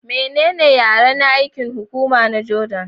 Menene yaren aikin hukuma na Jordan?